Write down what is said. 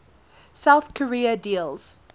south korea deals